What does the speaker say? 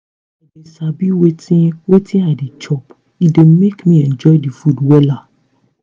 if i dey sabi wetin wetin i dey chop e dey make me enjoy the food wella